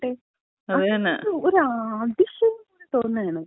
കൂടുന്നെങ്കില്‍ കൂടട്ടെ. ഒരതിശയം തോന്നാണ്.